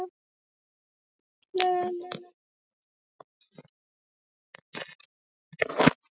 Nú er komið fram yfir miðnætti og þú ert að verða sólarhrings gömul.